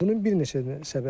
Bunun bir neçə səbəbi var.